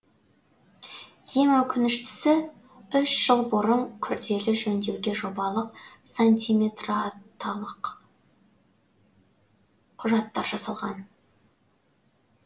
ең өкініштісі үш жыл бұрын күрделі жөндеуге жобалық сантиметреталық құжаттар жасалған